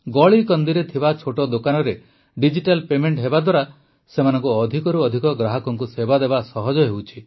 ଗଳିକନ୍ଦିରେ ଥିବା ଛୋଟ ଦୋକାନରେ ଡିଜିଟାଲ ପେମେଂଟ ହେବାଦ୍ୱାରା ସେମାନଙ୍କୁ ଅଧିକରୁ ଅଧିକ ଗ୍ରାହକଙ୍କୁ ସେବା ଦେବା ସହଜ ହେଉଛି